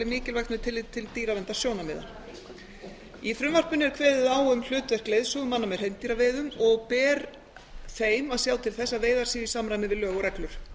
mikilvægt með tilliti til dýraverndarsjónarmiða í frumvarpinu er kveðið á um hlutverk leiðsögumanna með hreindýraveiðum og ber þeim að sjá til þess að veiðar séu í samræmi við lög og reglur